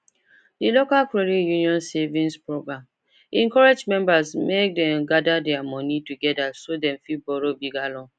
d local credit union savings program encourage members make dem gather their money together so dem fit borrow bigger loan